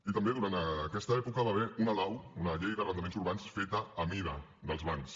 i també durant aquesta època hi va haver una lau una llei d’arrendaments urbans feta a mida dels bancs